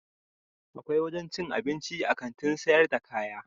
Akwai wajen cin abinci a Kantin sayar da kaya.